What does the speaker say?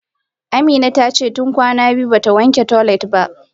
Amina tace tun kwana biyu bata wanke toilet ba.